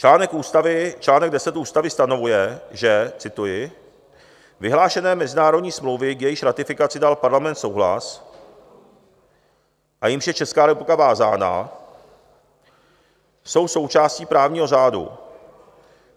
Článek 10 Ústavy stanovuje, že: "Vyhlášené mezinárodní smlouvy, k jejichž ratifikaci dal Parlament souhlas a jímž je Česká republika vázána, jsou součástí právního řádu.